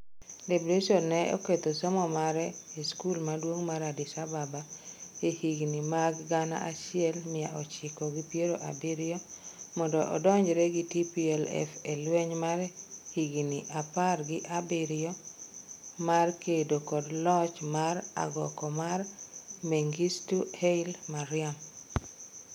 Debretsion ne oketho somo mare e skul maduong' mar Addis Ababa e higni mag gana achiel mia ochiko gi piero abiriyo mondo odonjre gi TPLF e lweny mar higni apar gi abiriyo mar kedo kod loch mar agoko mar Mengistu Haile Mariam.